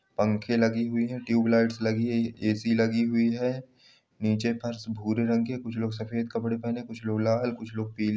पंखे लगे हुई है ट्यूबलाइट्स लगी है एसी लगी हुई है। नीचे फर्श भूरे रंग की है कुछ लोग सफ़ेद कपड़े पहने हैं कुछ लोग लाल कुछ लोग पील --